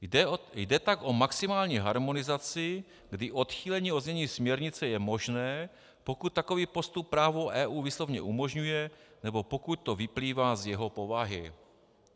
Jde tak o maximální harmonizaci, kdy odchýlení od znění směrnice je možné, pokud takový postup právo EU výslovně umožňuje nebo pokud to vyplývá z jeho povahy.